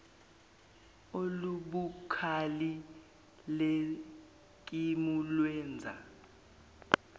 olubukhali leskimu lwenza